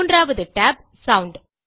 மூன்றாவது tab sound